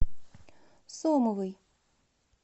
сомовой